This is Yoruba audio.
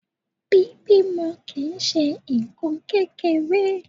Bíbímọ kì ń ṣe nǹkan kékeré.